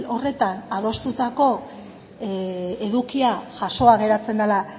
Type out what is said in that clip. horretan adostutako edukia jasoa geratzen dela